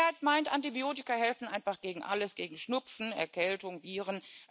Die Mehrheit meint, Antibiotika helfen einfach gegen alles, gegen Schnupfen, Erkältung, Viren.